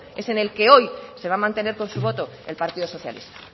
es en el que hoy se va a mantener con su voto el partido socialista